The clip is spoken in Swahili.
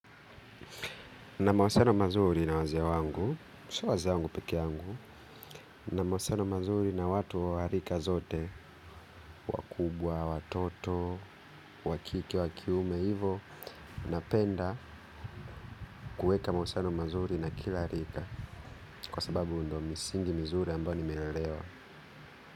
Na mahusiano mazuri na wazee wangu, sio wazee wangu pekee yangu, na mahusiano mazuri na watu wa rika zote, wakubwa, watoto, wakike, wakiume, hivo, napenda kuweka mahusiano mazuri na kila rika, kwa sababu ndo misingi mizuri ambayo nimelelewa.